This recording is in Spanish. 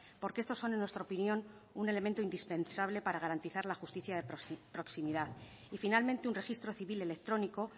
porque estos son en nuestra opinión un elemento indispensable para garantizar la justicia de proximidad y finalmente un registro civil electrónico